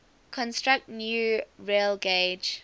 construct new railgauge